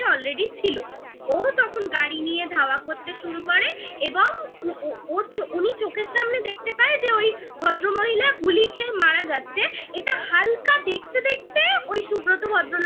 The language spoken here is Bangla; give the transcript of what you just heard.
already ছিল ও তখন হুম গাড়ি নিয়ে ধাওয়া করতে শুরু করে এবং উনি চোখের সামনে দেখতে পায় যে ওই ভদ্রমহিলা গুলি খেয়ে মারা যাচ্ছে এটা হালকা দেখতে দেখতে ওই সুব্রত ভদ্রলোক